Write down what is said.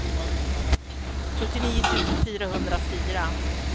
fyrtionio tusen fyrahundrafyra